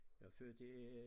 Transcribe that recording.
Jeg er født i